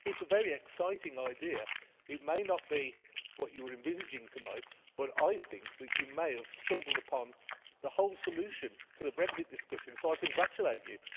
it is a very exciting idea. It may not be what you were envisaging tonight, but I think that you may have stumbled upon the whole solution to the Brexit discussion, so I congratulate you.